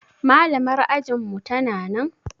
Malamar ajinmu tana nan?